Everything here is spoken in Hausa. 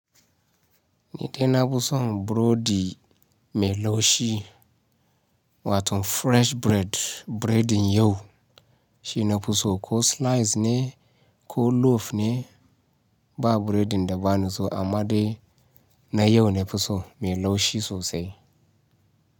Ni dai nafison burodi melaushi wato fresh bread, biredin yau shi nafuso ko slice ne ko loaf ne ba biredin da ba niso amma dai na yau nafiso melaushi sosai.